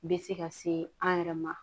Bɛ se ka se an yɛrɛ ma